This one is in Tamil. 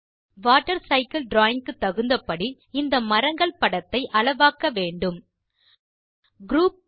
வாட்டர் சைக்கிள் டிராவிங் க்கு தகுந்த படி இந்த மரங்கள் படத்தை அளவாக்க வேண்டும் குரூப்